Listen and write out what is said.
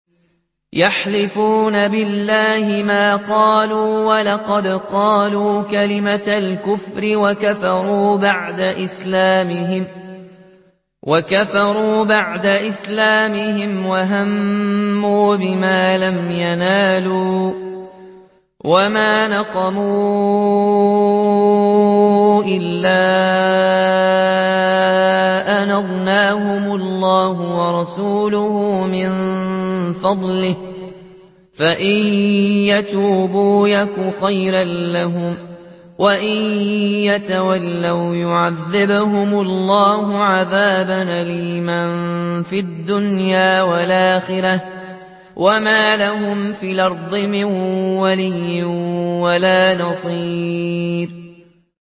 يَحْلِفُونَ بِاللَّهِ مَا قَالُوا وَلَقَدْ قَالُوا كَلِمَةَ الْكُفْرِ وَكَفَرُوا بَعْدَ إِسْلَامِهِمْ وَهَمُّوا بِمَا لَمْ يَنَالُوا ۚ وَمَا نَقَمُوا إِلَّا أَنْ أَغْنَاهُمُ اللَّهُ وَرَسُولُهُ مِن فَضْلِهِ ۚ فَإِن يَتُوبُوا يَكُ خَيْرًا لَّهُمْ ۖ وَإِن يَتَوَلَّوْا يُعَذِّبْهُمُ اللَّهُ عَذَابًا أَلِيمًا فِي الدُّنْيَا وَالْآخِرَةِ ۚ وَمَا لَهُمْ فِي الْأَرْضِ مِن وَلِيٍّ وَلَا نَصِيرٍ